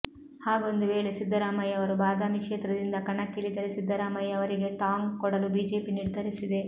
ಹಾಗೊಂದು ವೇಳೆ ಸಿದ್ದರಾಮಯ್ಯ ಅವರು ಬಾದಾಮಿ ಕ್ಷೇತ್ರದಿಂದ ಕಣಕ್ಕಿಳಿದರೆ ಸಿದ್ದರಾಮಯ್ಯ ಅವರಿಗೆ ಟಾಂಗ್ ಕೊಡಲು ಬಿಜೆಪಿ ನಿರ್ಧರಿಸಿದೆ